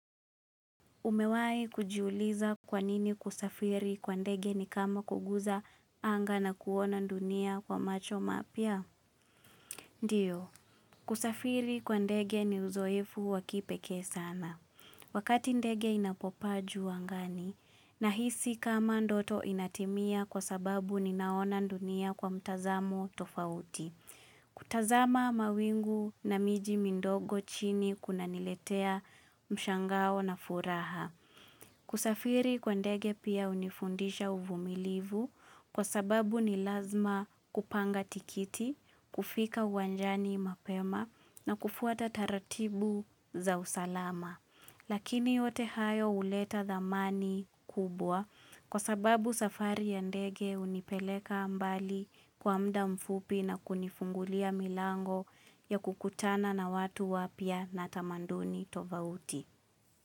Umewai kujiuliza kwanini kusafiri kwa ndege ni kama kuguza anga na kuona ndunia kwa macho mapya? Ndiyo, kusafiri kwa ndege ni uzoefu wakipekee sana. Wakati ndege inapo paa juu angani, na hisi kama ndoto inatimia kwa sababu ninaona ndunia kwa mtazamo tofauti. Kutazama mawingu na miji mindogo chini kuna niletea mshangao na furaha. Kusafiri kwa ndege pia unifundisha uvumilivu kwa sababu ni lazima kupanga tikiti, kufika uwanjani mapema na kufuata taratibu za usalama. Lakini yote hayo uleta dhamani kubwa kwa sababu safari ya ndege unipeleka mbali kwa muda mfupi na kunifungulia milango ya kukutana na watu wapya na tamanduni tovauti.